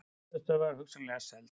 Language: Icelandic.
Höfuðstöðvar hugsanlega seldar